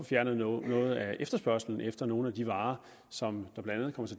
fjernet noget af efterspørgslen efter nogle af de varer som